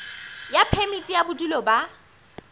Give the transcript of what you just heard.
ya phemiti ya bodulo ba